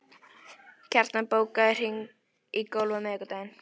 Kjartan, bókaðu hring í golf á miðvikudaginn.